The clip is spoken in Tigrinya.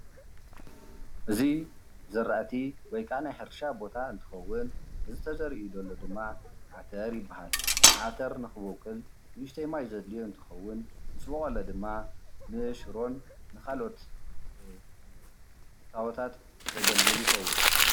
እዚ ዝራእቲ ወይ ከዓ ናይ ሕርሻ ቦታ እንትከዉን እዚ ተዘሪኡ ዘሎ ድማ ዓተር ይብሃል፡፡ ዓተር ንክቦቅል ንእሽተይ ማይ ዘድልዮ እንትኮን ምሰቦቀለ ድማ ንሽሮ ንካልኦት እታወታት ዘገልግል ይከዉን፡፡